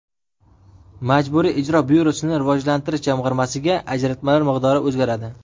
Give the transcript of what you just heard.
Majburiy ijro byurosini rivojlantirish jamg‘armasiga ajratmalar miqdori o‘zgaradi.